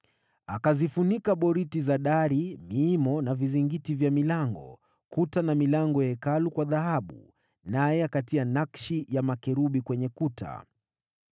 Akazifunika boriti za dari, miimo na vizingiti vya milango, kuta na milango ya Hekalu kwa dhahabu, naye akatia nakshi ya makerubi kwenye kuta.